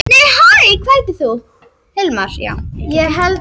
Tilgangur náttúruverndar Tilgangurinn með náttúruvernd er margvíslegur.